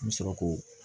N bɛ sɔrɔ k'o